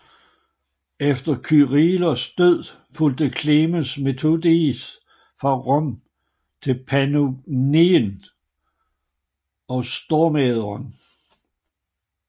Efter Kyrillos død fulgte Klemens Methodios fra Rom til Pannonien og Stormähren